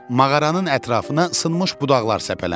Mağaranın ətrafına sınmış budaqlar səpələnib.